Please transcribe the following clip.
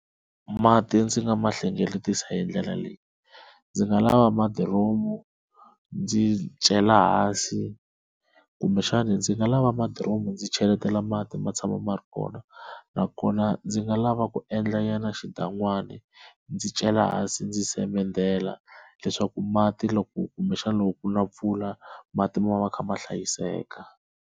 Mati ndzi nga ma hlengeletisa hi ndlela leyi ndzi nga lava madiromu ndzi cela hansi kumbexana ndzi nga lava madiromu ndzi cheletela mati ma tshama ma ri kona, nakona ndzi nga lava ku endla nyana xidan'wani ndzi cela hansi ndzi semendela leswaku mati loko kumbexana loko ku na mpfula mati ma va ma kha ma hlayiseka.